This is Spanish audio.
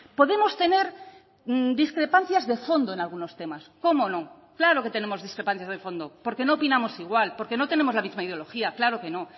podemos tener discrepancias de fondo en algunos temas cómo no claro que tenemos discrepancias de fondo porque no opinamos igual porque no tenemos la misma ideología claro que no